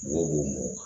Wo mɔ